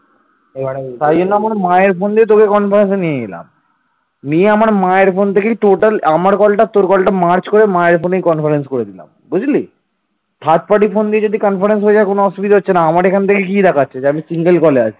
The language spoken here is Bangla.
third পার্টির phone দিয়ে যদি conference হয়ে যায় তো কোন অসুবিধা হচ্ছে না আমার এখান থেকে কি দেখাচ্ছে যে আমি single call আছি